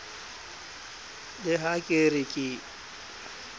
le ha ke re ke